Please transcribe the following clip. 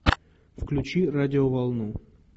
включи радиоволну